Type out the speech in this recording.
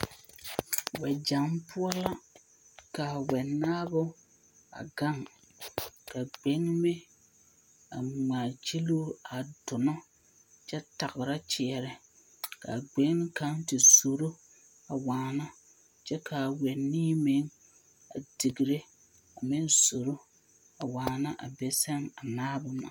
Wԑgyԑŋ poͻ la ka wͻnaao a gaŋ, ka gbeŋime a ŋmaa gyiluu a donͻ kyԑ tagera kyeԑnԑ. ka a gbeŋini kaŋa te zoro a waana kyԑ ka a wԑnii meŋ a digire koo meŋ zoro a waana a be sԑŋ a naabo na.